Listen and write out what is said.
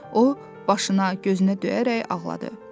O başına, gözünə döyərək ağladı.